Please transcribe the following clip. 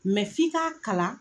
f'i k'a kalan.